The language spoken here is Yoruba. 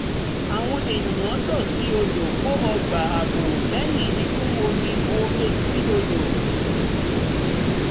àwọn ènìyàn tòsí odò kọ́ ọgbà ààbò lẹ́yìn ìkún omi bo etí odò